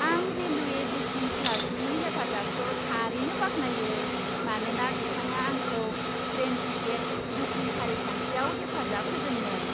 आं railway booking क्लार्कनि हेफाजाबखौ थारैनो बाख्नायो, मानोना बिथाङा आंखौ ट्रेन टिकेट बुकिं फारिखान्थियाव हेफाजाब होदोंमोन।